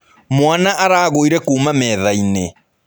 Mwaana aragũire kuuma metha-inĩ.